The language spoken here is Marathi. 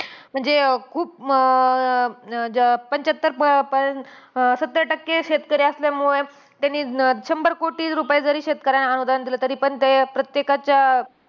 म्हणजे खूप अं अं पंच्याहत्तर point सत्तर टक्के शेतकरी असल्यामुळे, त्यांनी अं शंभर कोटी रुपये जरी शेतकऱ्यांना अनुदान दिलं. तरीपण ते प्रत्येकाच्या